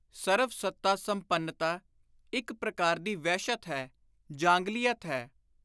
ਸਰਵ-ਸੱਤਾ-ਸੰਪੰਨਤਾ ਇਕ ਪ੍ਰਕਾਰ ਦੀ ਵਹਿਸ਼ਤ ਹੈ, ਜਾਂਗਲੀਅਤ ਹੈ।